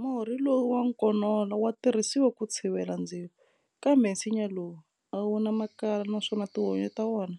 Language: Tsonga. Murhi lowu wa nkonola wa tirhisiwa ku tshivela ndzilo, kambe nsinya lowu a wu na makala naswona tihunyi ta wona